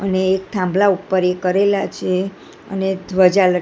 અને એક થાંભલા ઉપર એ કરેલા છે અને એક ધ્વજા લ--